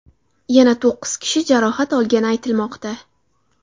Yana to‘qqiz kishi jarohat olgani aytilmoqda.